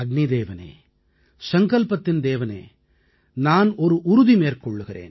அதாவது ஹே அக்நே சங்கல்பத்தின் தேவனே நான் ஒரு உறுதி மேற்கொள்கிறேன்